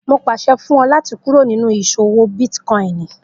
Mo pàṣẹ fún ọ láti kúrò nínú ìṣòwò bítkòinì